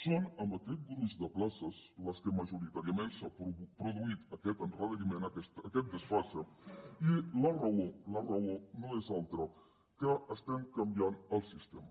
és en aquest gruix de places on majoritàriament s’ha produït aquest endarreriment aquest desfasament i la raó no és altra que el fet que estem canviant el sistema